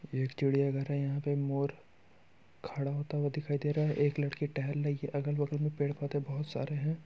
ये एक चिडिया घर है। यहाँ पे मोर खड़ा होता हुआ दिखाई दे रहा है। एक लडकी टहल रही है। अगल बगल में पेड पौधे बहुत सारे हैं।